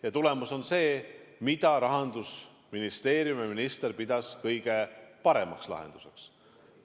Ja tulemus on see, mida Rahandusministeeriumi minister pidas kõige paremaks lahenduseks.